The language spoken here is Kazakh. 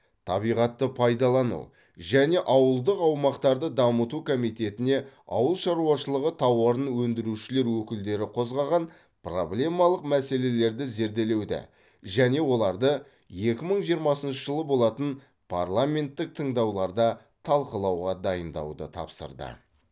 табиғатты пайдалану және ауылдық аумақтарды дамыту комитетіне ауыл шаруашылығы тауарын өндірушілер өкілдері қозғаған проблемалық мәселелерді зерделеуді және оларды екі мың жиырмасыншы жылы болатын парламенттік тыңдауларда талқылауға дайындауды тапсырды